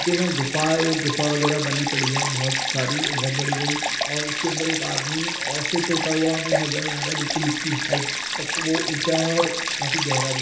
नीचे ना गुफाएँ- गुफा वगैरह बनी पड़ी है बोहोत सारी बोहोत बड़ी बड़ी और उसके अंदर एक आदमी ओ फीट होता हुआ हमें नजर आ रहा है बिल्कुल उसकी हाइट तक वह ऊँचा है और काफी गहरा भी।